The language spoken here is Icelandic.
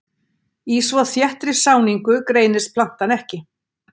Í svo þéttri sáningu greinist plantan ekki.